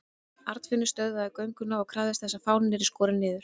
Arnfinnur stöðvaði gönguna og krafðist þess að fáninn yrði skorinn niður.